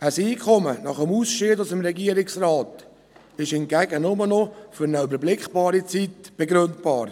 Ein Einkommen nach dem Ausscheiden aus dem Regierungsrat ist hingegen nur noch für eine überschaubare Zeit begründbar.